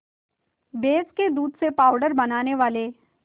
भैंस के दूध से पावडर बनाने वाले